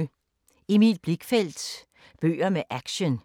Emil Blichfeldt – bøger med action